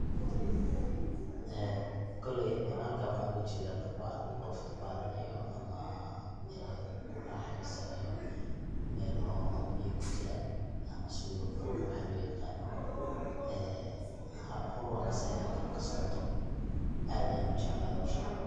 Ee koley ha; lkan waxn oga jedaa dabaal qof dabalanayo ama kuraaxeysanayo mel oo biya kujiran ama swimming pool waxa loo yaqaano ee howl nocaas aya halkan kasocoto aad ayan ujeclahay hoshaas.